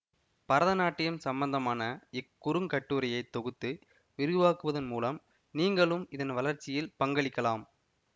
பரதநாட்டியம் சம்பந்தமான இக் குறுங்கட்டுரையை தொகுத்து விரிவாக்குவதன் மூலம் நீங்களும் இதன் வளர்ச்சியில் பங்களிக்கலாம்